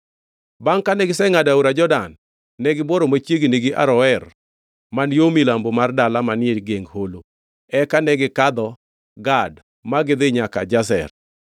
Bangʼ kane gisengʼado aora Jordan, negibuoro machiegni gi Aroer, man yo milambo mar dala manie geng holo, eka negikadho Gad ma gidhi nyaka Jazer.